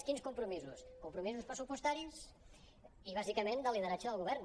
quins compromisos compromisos pressupostaris i bàsica·ment de lideratge del govern